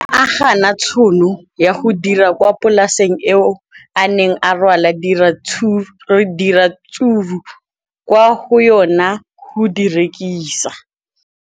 O ne a gana tšhono ya go dira kwa polaseng eo a neng rwala diratsuru kwa go yona go di rekisa.